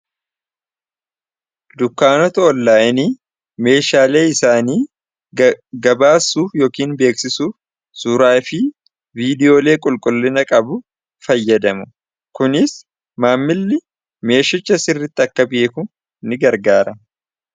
Dukkaanota onlaayinii meeshaalee isaanii gabaasuuf yookiin beeksisuuf suuraafi viidiyoolee qulqullina qabu fayyadamu kuniis maammilli meeshicha sirritti akka beeku ni gargaara.